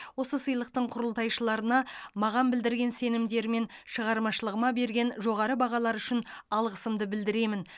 осы сыйлықтың құрылтайшыларына маған білдірген сенімдері мен шығармашылығыма берген жоғары бағалары үшін алғысымды білдіремін